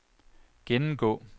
gennemgå